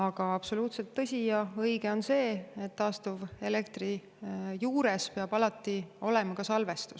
Aga absoluutselt tõsi ja õige on see, et taastuva elektri juures peab alati olema ka salvestus.